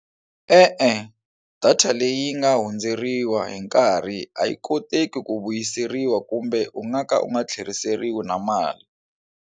E-e, data leyi nga hundzeriwa hi nkarhi a yi koteki ku vuyiseriwa kumbe u nga ka u nga tlheriseriwi na mali.